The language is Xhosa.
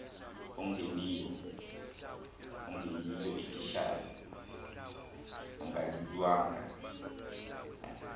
ongeyiyo ititshala angalilungu